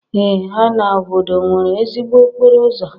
Ee ha obodo nwere ezigbo okporo ụzọ?